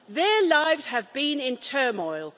Their lives have been in turmoil.